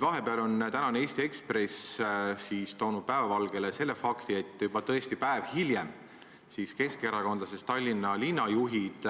Vahepeal on tänane Eesti Ekspress toonud päevavalgele fakti, et juba tõesti päev hiljem keskerakondlastest Tallinna linnajuhid